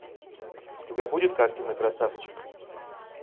у тебя будет картина красавчик